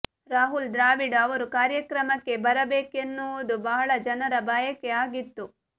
ರಾಹುಲ್ ದ್ರಾವಿಡ್ ಅವರು ಕಾರ್ಯಕ್ರಮಕ್ಕೆ ಬರಬೇಕೆನ್ನುವುದು ಬಹಳ ಜನರ ಬಯಕೆ ಆಗಿತ್ತು